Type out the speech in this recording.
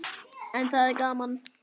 En það er gaman.